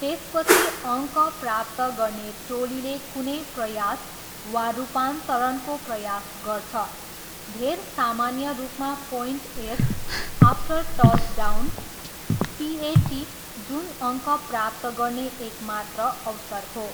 त्यसपछि अङ्क प्राप्त गर्ने टोलीले कुनै प्रयास वा रूपान्तरणको प्रयास गर्छ, धेर सामान्य रूपमा points, after touchdown PAT, जुन अङ्क प्राप्त गर्ने एकमात्र अवसर हो।